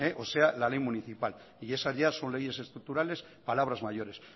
o sea la ley municipal y esas ya son leyes estructurales palabras mayores